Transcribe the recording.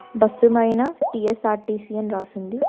Bus మైన TSRTC అని రాసుంది.